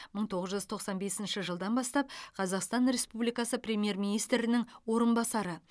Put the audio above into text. мың тоғыз жүз тоқсан бесінші жылдан бастап қазақстан республикасы премьер министрінің орынбасары